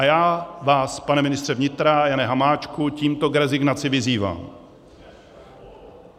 A já vás, pane ministře vnitra Jane Hamáčku, tímto k rezignaci vyzývám.